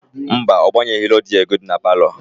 Mba, ọ gbanyeghị redio gị dị na palọ.